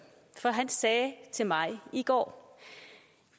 sagde til mig i går